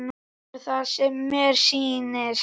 Er það sem mér sýnist?